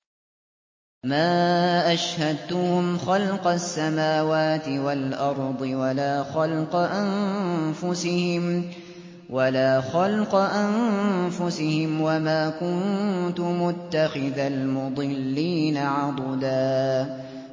۞ مَّا أَشْهَدتُّهُمْ خَلْقَ السَّمَاوَاتِ وَالْأَرْضِ وَلَا خَلْقَ أَنفُسِهِمْ وَمَا كُنتُ مُتَّخِذَ الْمُضِلِّينَ عَضُدًا